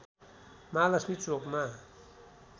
महालक्ष्मी चोकमा